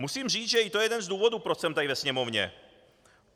Musím říct, že to je i jeden z důvodů, proč jsem tady ve Sněmovně.